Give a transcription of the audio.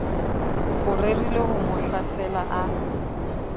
o rerileho mo hlasela a